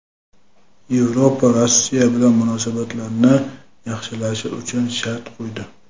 Yevropa Rossiya bilan munosabatlarni yaxshilash uchun shart qo‘ydi.